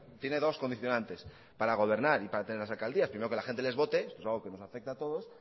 tiene dos condicionantes para gobernar y para tener las alcaldías primero que la gente les vote eso es algo que nos afecta a todos